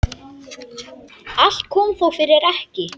Allt kom þó fyrir ekki.